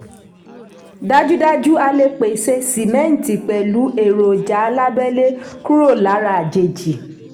dájúdájú a lè pèsè símẹ́ǹtì pẹ̀lú èròjà alábẹ́lé kúrò lára àjèjì.